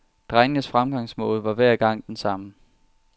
Drengens fremgangsmåde var hver gang den samme.